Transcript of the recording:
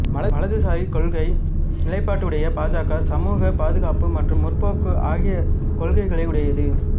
வலதுசாரி கொள்கை நிலைப்பாடுடைய பா ஜ க சமூக பாதுகாப்பு மற்றும் முற்போக்கு ஆகிய கொள்கைகளுடையது